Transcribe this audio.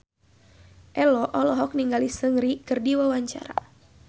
Ello olohok ningali Seungri keur diwawancara